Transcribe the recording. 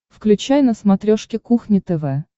включай на смотрешке кухня тв